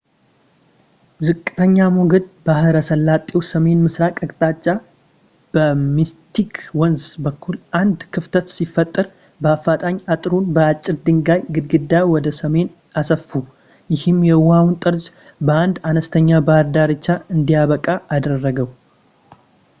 ዝቅተኛ ሞገድ ባሕረ ሰላጤው ሰሜን ምስራቅ አቅጣጫ በሚስቲክ ወንዝ በኩል አንድ ክፍተት ሲፈጥር በአፋጣኝ አጥሩን በአጭር የድንጋይ ግድግዳ ወደ ሰሜን አሰፉ ይህም የውሃውን ጠርዝ በአንድ አነስተኛ ባህር ዳርቻ እንዲያበቃ አደረገው